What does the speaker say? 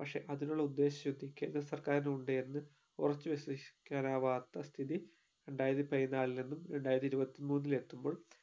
പക്ഷെ അതിനുള്ള ഉദ്ദേശ ശുദ്ധിക്ക് കേന്ദ്ര സർക്കാരിനു ഉണ്ട് എന്ന് ഉറച്ചു വിശ്വസിക്കാനാവാത്ത സ്ഥിതി രണ്ടായിരത്തി പതിനാലിൽ നിന്നും രണ്ടായിരത്തി ഇരുപത്തി മൂന്നിൽ എത്തുമ്പോൾ